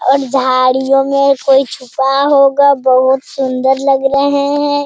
और झाड़ियों में कोई छुपा होगा बहुत सुंदर लग रहे है।